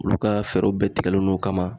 Olu ka fɛɛrɛw bɛɛ tigɛlen don o ka ma